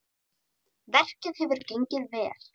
Verkið hefur gengið vel.